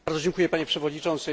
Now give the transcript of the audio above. Panie Przewodniczący!